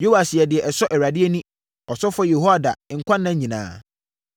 Yoas yɛɛ deɛ ɛsɔ Awurade ani, ɔsɔfoɔ Yehoiada nkwa nna nyinaa.